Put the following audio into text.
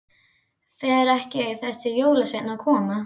Fer ekki þessi jólasveinn að koma?